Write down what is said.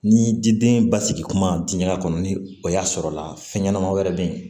Ni jiden basigi kuma diya kɔnɔ ni o y'a sɔrɔla fɛn ɲɛnama wɛrɛ be yen